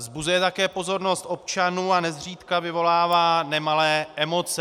Vzbuzuje také pozornost občanů a nezřídka vyvolává nemalé emoce.